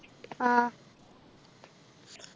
ആഹ്